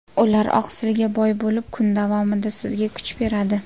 Ular oqsilga boy bo‘lib, kun davomida sizga kuch beradi.